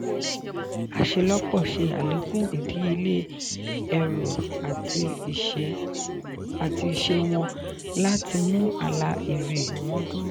aṣelọpọ ṣe alekun idiyele ẹru ati iṣẹ wọn láti mú àlà èrè wọn dúró.